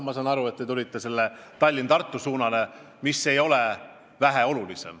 Ma saan aga aru, miks te võtsite jutuks selle Tallinna–Tartu maantee, mis ei ole sugugi vähem oluline.